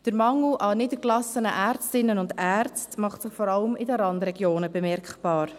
Der Mangel an niedergelassenen Ärztinnen und Ärzten macht sich vor allem in den Randregionen bemerkbar.